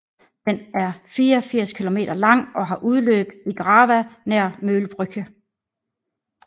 Den er 84 km lang og har udløb i Drava nær Möllbrücke